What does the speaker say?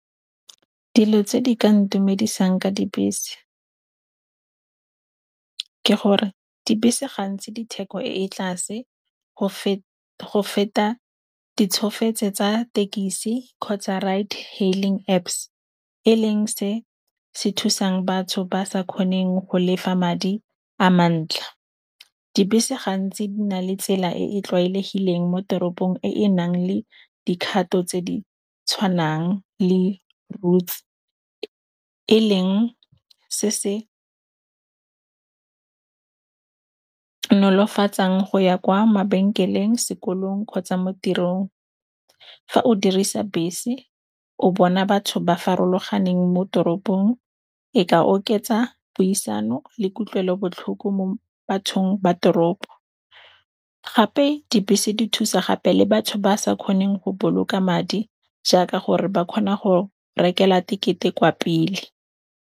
Dilo tse di ka ntumedisang ka dibese, ke gore dibese ga ntsi ditheko ko tlase go feta ditsholofetso tsa thekisi kgotsa Ride Hailing Apps e leng se se thusang batho ba sa kgoneng go lefa madi a mantle. Dibese gantsi di na le tsela e e tlwaelegileng mo teropong e e nang le dikgato tse di tshwanang le routes. E leng se se nolofatsang go ya kwa mabenkeleng, sekolong kgotsa mo tirong. Fa o dirisa bese o bona batho ba farologaneng mo toropong, eka oketsa puisano le kutlwelobotlhoko mo bathong ba toropo. Gape dibese di thusa gape le batho ba sa kgoneng go boloka madi jaaka gore ba kgona go rekela tekete kwa pele.